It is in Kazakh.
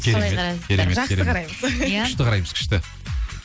керемет керемет жақсы қараймыз күшті қараймыз күшті